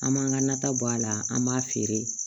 An m'an ka nata bɔ a la an b'a feere